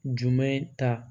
Jumɛn ta